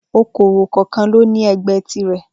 Okòwò kọọkan lóní ẹgbẹ́ tirè